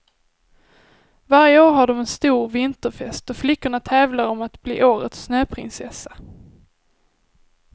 Varje år har dom en stor vinterfest då flickorna tävlar om att bli årets snöprinsessa.